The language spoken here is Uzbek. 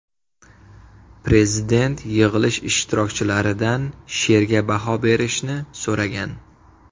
Prezident yig‘ilish ishtirokchilaridan she’rga baho berishni so‘ragan.